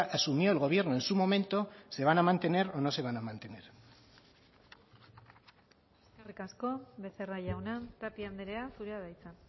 asumió el gobierno en su momento se van a mantener o no se van a mantener eskerrik asko becerra jauna tapia andrea zurea da hitza